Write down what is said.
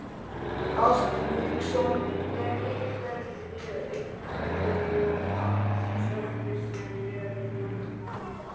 Hafsteinn Hauksson: Er einhverjar sektir sem eru lagðar við þessu?